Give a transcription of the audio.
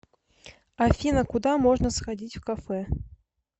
афина куда можно сходить в кафе